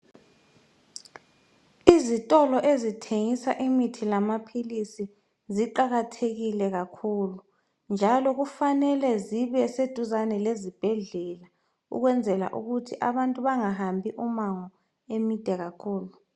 Izitolo ezithengisa imithi lamaphilisi ziqakathekile kakhulu njalo kufanele zibe seduzane lezibhedlela ukwenzela ukuthi abantu bengahambi umango emide kakhulu.